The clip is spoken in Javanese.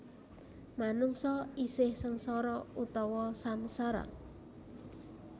Manungsa isih sengsara utawa samsara